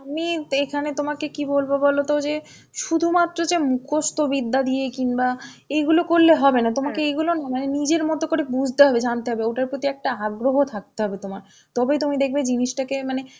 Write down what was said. আমি এইখানে তোমাকে কি বলবো বলতো যে শুধুমাত্র যে মুখস্থ বিদ্যা দিয়ে কিংবা এইগুলো করলে হবে না. তোমাকে এইগুলো না মানে নিজের মত করে বুঝতে হবে, জানতে হবে, ওটার প্রতি একটা আগ্রহ থাকতে হবে তোমার. তবেই তুমি দেখবে জিনিসটাকে মানে